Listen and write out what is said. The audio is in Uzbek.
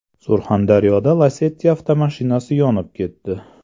Surxondaryoda Lacetti avtomashinasi yonib ketdi.